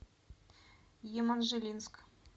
еманжелинск